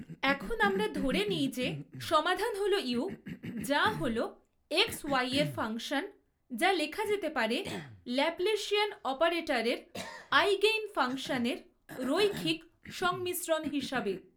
এখন আমরা ধরে নিই যে সমাধান হল ইউ যা হল এক্স ওয়াই এর ফাংশন যা লেখা যেতে পারে ল্যাপলেশিয়ান অপারেটরের আইগেনফাংশনের রৈখিক সংমিশ্রণ হিসাবে।